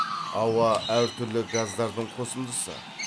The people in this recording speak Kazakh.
ауа әр түрлі газдардың қосындысы